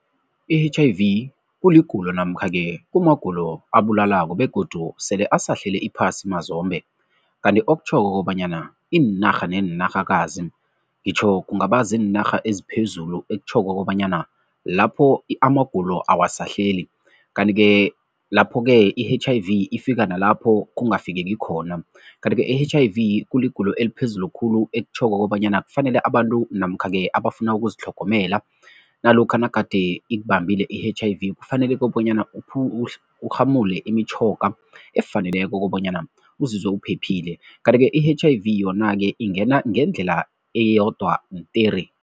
I-H_I_V kuligulo namkha-ke kunamagulo abulalako begodu sele asahlele iphasi mazombe kanti okutjhoko kobanyana iinarha neenarhakazi, ngitjho kungaba ziinarha eziphezulu ekutjhoko kobanyana lapho amagulo awasahleli kanti-ke lapho-ke i-H_I-V ifika nalapho kungafiki khona. Kanti-ke i-H_I_V kuligulo eliphezulu khulu ekutjhoko kobanyana kufanele abantu namkha-ke abafuna ukuzitlhogomela nalokha nagade ikubambile i-H_I_V, kufanele kobanyana urhamule imitjhoga efaneleko kobanyana uzizwe uphephile kanti-ke i-H_I_V yona-ke ingena ngendlela eyodwa tere.